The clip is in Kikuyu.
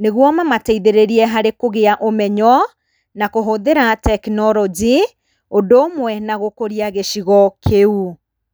nĩguo mamateithĩrĩrie harĩ kũgĩa ũmenyo na kũhũthĩra technology, ũndũ ũmwe na gũkũria gĩcigo kĩu.